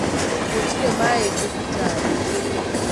Gũtirĩ maĩ thibitarĩ